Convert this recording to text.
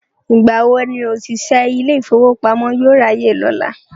Ìgbà wo ni òṣìṣẹ́ ilé ìfowópamọ́ yóò ráyè lọ́la?